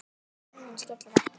Hurðin skellur aftur.